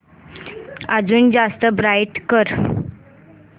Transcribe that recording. अजून जास्त ब्राईट कर